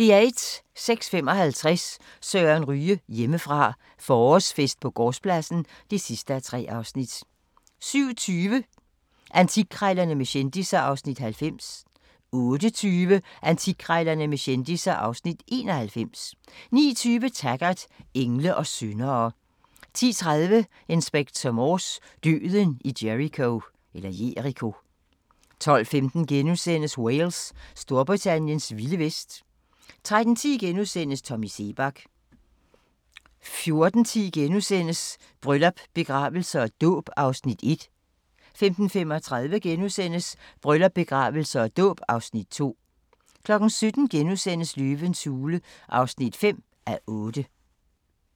06:55: Søren Ryge: Hjemmefra – forårsfest på gårdspladsen (3:3) 07:20: Antikkrejlerne med kendisser (Afs. 90) 08:20: Antikkrejlerne med kendisser (Afs. 91) 09:20: Taggart: Engle og syndere 10:30: Inspector Morse: Døden i Jericho 12:15: Wales – Storbritanniens vilde vest * 13:10: Tommy Seebach * 14:10: Bryllup, begravelse og dåb (Afs. 1)* 15:35: Bryllup, begravelse og dåb (Afs. 2)* 17:00: Løvens hule (5:8)*